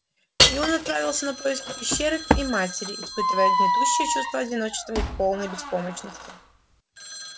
и он отправился на поиски пещеры и матери испытывая гнетущее чувство одиночества и полной беспомощности